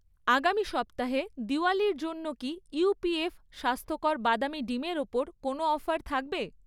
আগামি সপ্তাহে দিওয়ালীর জন্য কি উপিএফ স্বাস্থ্যকর বাদামী ডিমের ওপর কোনও অফার থাকবে?